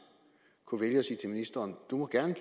kunne vælge at sige til ministeren du må gerne